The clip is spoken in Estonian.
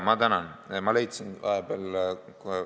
Ma tänan!